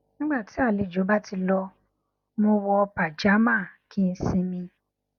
nígbà tí àlejò bá ti lọ mo wọ pajamá kí n sinmi